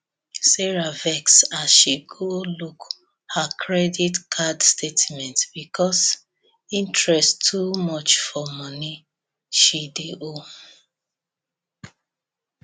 sarah vex as she go look her credit card statement because interest too much for money she dey owe